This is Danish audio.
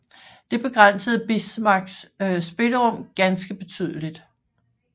Det begrænsede Bismarcks spillerum ganske betydeligt